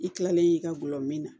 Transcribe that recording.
I kilalen i ka gulɔmin na